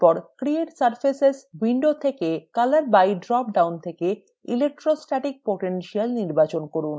তারপর create surface window থেকে : color by dropdown থেকে electrostatic potential নির্বাচন করুন